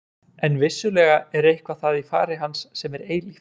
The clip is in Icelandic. En vissulega er eitthvað það í fari hans sem er eilíft.